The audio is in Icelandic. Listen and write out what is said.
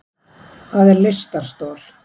Hvað er lystarstol?